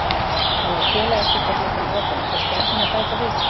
Nú er félagaskiptaglugginn opinn, ætlar Stjarnan að bæta við sig?